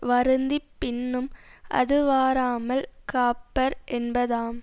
வருந்தி பின்னும் அதுவாராமல் காப்பர் என்பதாம்